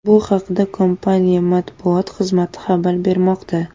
Bu haqda kompaniya matbuot xizmati xabar bermoqda.